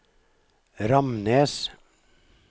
Ramnes